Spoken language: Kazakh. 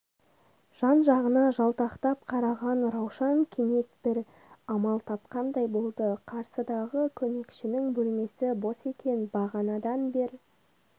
жан-жағына жалтақтап қараған раушан кенет бір амал тапқандай болды қарсыдағы көмекшінің бөлмесі бос екен бағанадан бер